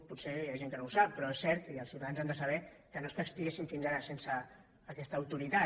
potser hi ha gent que no ho sap però és cert i els ciutadans han de saber que no és que estiguéssim fins ara sense aquesta autoritat